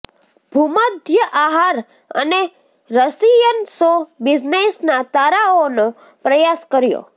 ભૂમધ્ય આહાર અને રશિયન શો બિઝનેસના તારાઓનો પ્રયાસ કર્યો